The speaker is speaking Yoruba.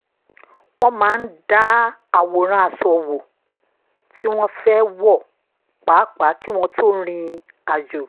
wọ́n máa ń dá àwòrán aṣọ wo tí wọ́n fẹ́ wọ pàápàá kí wọ́n tó rìn àjò